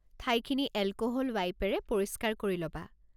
ঠাইখিনি এলক'হল ৱাইপেৰে পৰিষ্কাৰ কৰি ল'বা।